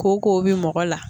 Ko k'o bi mɔgɔ la